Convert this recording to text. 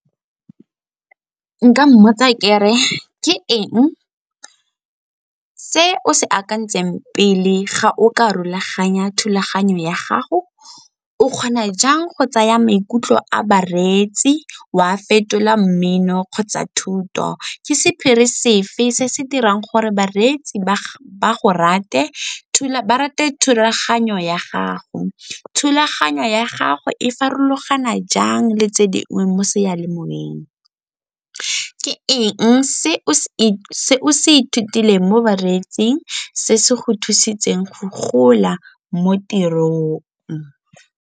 Nka mmotsa ke re, ke eng se o se akantseng pele ga o ka rolaganya thulaganyo ya gago? O kgona jang go tsaya maikutlo a bareetsi o a fetola mmino kgotsa thuto? Ke sephiri sefe se se dirang gore bareetsi ba rate thulaganyo ya gago? Thulaganyo ya gago e farologana jang le tse dingwe mo seyalemoweng? Ke eng se o se ithutileng mo bareetsing se se go thusitseng go gola mo tirong?